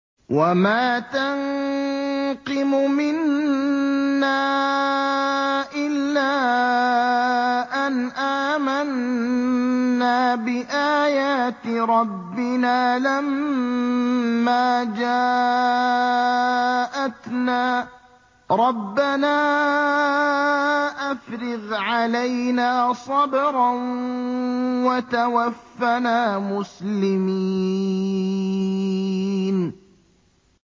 وَمَا تَنقِمُ مِنَّا إِلَّا أَنْ آمَنَّا بِآيَاتِ رَبِّنَا لَمَّا جَاءَتْنَا ۚ رَبَّنَا أَفْرِغْ عَلَيْنَا صَبْرًا وَتَوَفَّنَا مُسْلِمِينَ